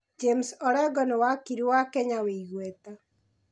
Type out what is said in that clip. James Orengo nĩ wakiri wa Kenya wĩ igweta.